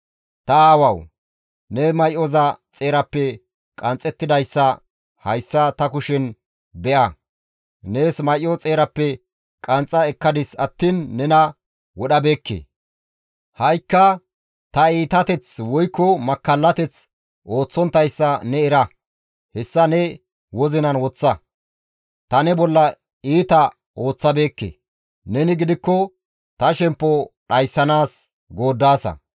Ta aawawu ne may7oza xeerappe qanxxettidayssa hayssa ta kushen be7a! Nees may7o xeerappe qanxxa ekkadis attiin nena wodhabeekke. Ha7ikka tani iitateth woykko makkallateth ooththonttayssa ne era; hessa ne wozinan woththa; ta ne bolla iita ooththabeekke; neni gidikko ta shemppo dhayssanaas gooddaasa.